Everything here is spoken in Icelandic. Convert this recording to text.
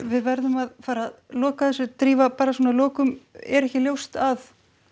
við verðum að fara að loka þessu drífa bara svona að lokum er ekki ljóst að